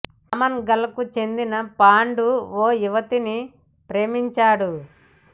Amman గల్ కు చెందిన పాండు ఓ యువతిని ప్రేమించాడు